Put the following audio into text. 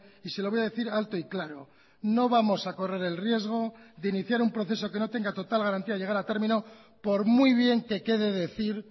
y se lo voy a decir alto y claro no vamos a correr el riesgo de iniciar un proceso que no tenga total garantía de llegar a término por muy bien que quede decir